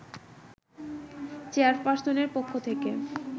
চেয়ারপার্সনের পক্ষ থেকে